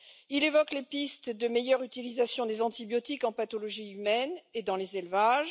Il évoque les pistes de meilleure utilisation des antibiotiques en pathologie humaine et dans les élevages.